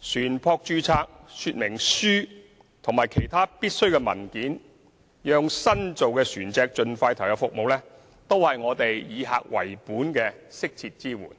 船舶說明書及其他必需的文件，讓新造船隻盡快投入服務，都是我們以客為本的適切支援。